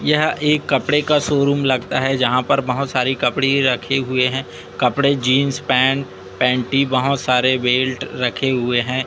यह एक कपड़े का शोरूम लगता है यहां पर बहुत सारी कपड़े रखे हुए हैं कपड़े जींस पैंट पैंटी बहुत सारे बेल्ट रखे हुए हैं।